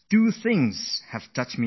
There are two things that have moved me